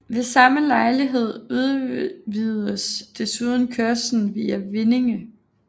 Ved samme lejlighed udvidedes desuden kørslen via Vindinge